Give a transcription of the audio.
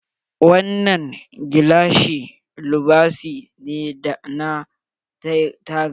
Wannan gilashi lubasi ne na taga.